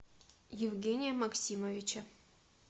евгения максимовича